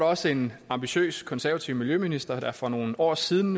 også en ambitiøs konservativ miljøminister der nu for nogle år siden